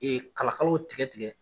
kala kala tigɛ tigɛ